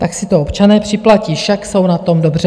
Tak si to občané připlatí, však jsou na tom dobře.